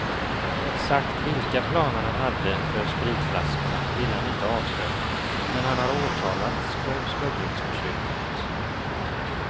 Exakt vilka planer han hade för spritflaskorna ville han inte avslöja men han har åtalats för smugglingsförsöket.